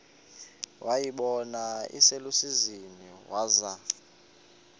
wayibona iselusizini waza